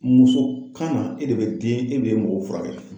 Muso kunu e de den e de be mɔgɔw furakɛ